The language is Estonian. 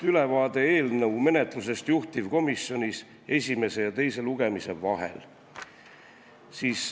Ülevaade eelnõu menetlusest juhtivkomisjonis esimese ja teise lugemise vahel.